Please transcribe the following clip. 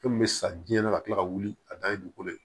Fɛn min bɛ sa jiɲɛ na ka kila ka wuli a da ye dugukolo ye